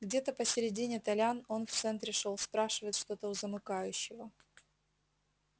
где-то посередине толян он в центре шёл спрашивает что-то у замыкающего